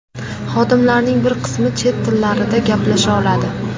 Xodimlarning bir qismi chet tillarida gaplasha oladi.